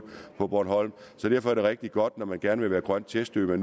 på bornholm så derfor er det rigtig godt når man gerne vil være grøn testø